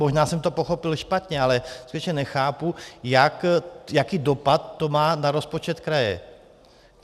Možná jsem to pochopil špatně, ale skutečně nechápu, jaký dopad to má na rozpočet kraje.